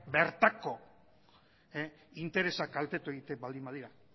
bertako interesak kaltetu egiten baldin badira